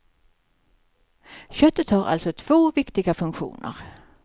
Köttet har alltså två viktiga funktioner.